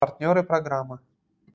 партнёры программы